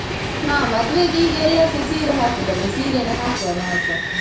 ಹಾ ಮದ್ವೆಗೆ ಈಗ ಎಲ್ಲರ್ಸ ಸೀರೆ ಹಾಕುದಲ್ಲ, ಸೀರೆನೆ ಹಾಕುವ ನಾವುಸ.